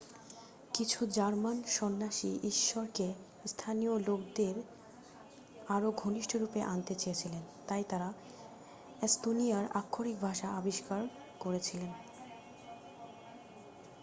কিছু জার্মান সন্ন্যাসী ঈশ্বরকে স্থানীয় লোকদের আরও ঘনিষ্ঠরূপে আনতে চেয়েছিলেন তাই তারা এস্তোনিয়ান আক্ষরিক ভাষা আবিষ্কার করেছিলেন